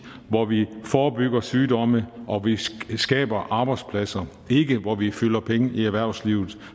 hvor vi forebygger sygdomme og hvor vi skaber arbejdspladser det er ikke hvor vi fylder penge i erhvervslivet